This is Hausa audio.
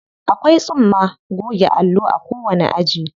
Akwai tsumma goge allo a kowanni aji.